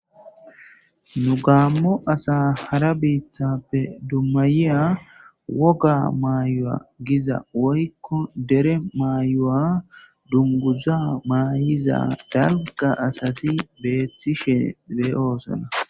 nu gaammo asa hara biittappe dummayiya woga maayowa giza woykko dere mayo7a dunguza maayiza dalga asati beethishe beeyoosona